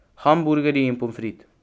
Hamburgerji in pomfrit.